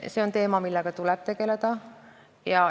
See on teema, millega tuleb tegeleda.